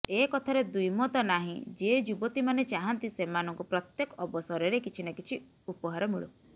ଏକଥାରେ ଦ୍ୱିମତ ନାହିଁ ଯେ ଯୁବତୀମାନେ ଚାହାଁନ୍ତି ସେମାନଙ୍କୁ ପ୍ରତ୍ୟେକ ଅବସରରେ କିଛି ନା କିଛି ଉପହାର ମିଳୁ